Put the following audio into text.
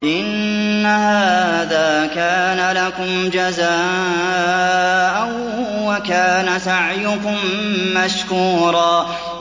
إِنَّ هَٰذَا كَانَ لَكُمْ جَزَاءً وَكَانَ سَعْيُكُم مَّشْكُورًا